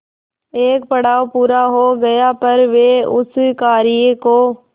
एक पड़ाव पूरा हो गया पर वे उस कार्य को